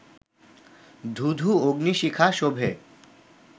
ধূ ধূ অগ্নি-শিখা শোভে